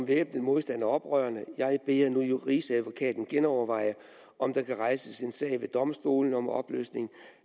væbnet modstand er oprørende jeg beder nu rigsadvokaten genoverveje om der kan rejses en sag ved domstolene om opløsning